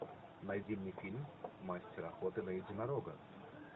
найди мне фильм мастер охоты на единорога